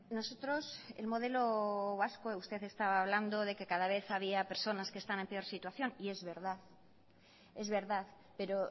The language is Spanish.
nosotros el modelo vasco usted estaba hablando de que cada vez había personas que están en peor situación y es verdad es verdad pero